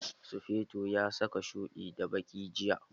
Sufeto ya saka shuɗi da baki jiya.